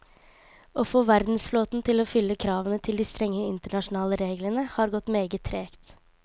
Å få verdensflåten til å fylle kravene til de strenge internasjonale reglene har gått meget tregt.